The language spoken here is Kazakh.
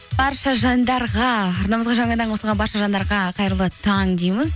барша жандарға арнамызға жаңадан қосылған барша жаңдарға қайырлы таң дейміз